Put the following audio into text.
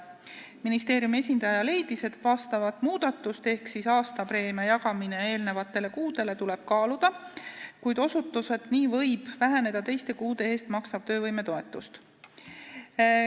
Ministeeriumi esindaja leidis, et vastavat muudatust ehk aastapreemia jagamist eelnevatele kuudele tuleb kaaluda, kuid selgitas, et nii võib väheneda teiste kuude eest makstav töövõimetoetus.